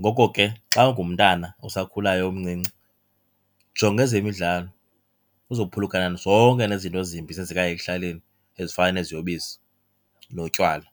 Ngoko ke xa ungumntana usakhulayo umncinci jonga ezemidlalo, uzophulukana zonke nezi zinto zimbi zenzekayo ekuhlaleni ezifana neziyobisi, notywala.